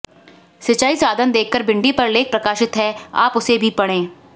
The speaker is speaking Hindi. सिंचाई साधन देखकर भिंडी पर लेख प्रकाशित है आप उसे भी पढ़ें